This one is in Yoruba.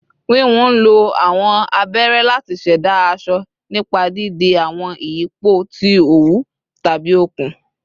Wiwun nlo awọn abere lati ṣẹda aṣọ nipa didi awọn iyipo ti owu tabi okun